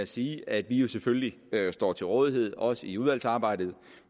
sige at vi jo selvfølgelig står til rådighed også i udvalgsarbejdet